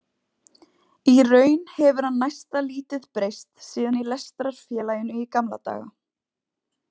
Í raun hefur hann næsta lítið breyst síðan í lestrarfélaginu í gamla daga.